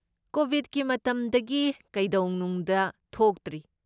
ꯀꯣꯕꯤꯗꯀꯤ ꯃꯇꯝꯗꯒꯤ ꯀꯩꯗꯧꯅꯨꯡꯗ ꯊꯣꯛꯇ꯭ꯔꯤ꯫